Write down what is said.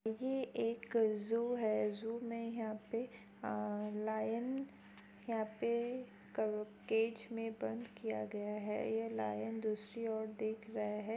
ये एक ज़ू है ज़ू में यहां पे लायन यहां पे केज में बंद किया गया हैये लायन दूसरी ओर देख रहा है ।